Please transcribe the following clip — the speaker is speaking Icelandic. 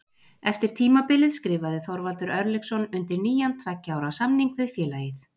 Eftir tímabilið skrifaði Þorvaldur Örlygsson undir nýjan tveggja ára samning við félagið.